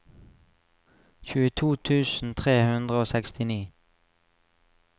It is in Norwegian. tjueto tusen tre hundre og sekstini